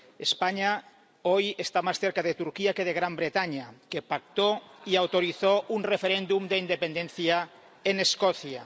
España hoy está más cerca de Turquía que de Gran Bretaña, que pactó y autorizó un referéndum de independencia en Escocia.